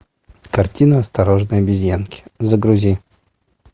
картина осторожно обезьянки загрузи